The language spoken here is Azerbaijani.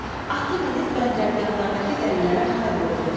Atı minib bəndərgahlardakı dəlilərə hay vurdu.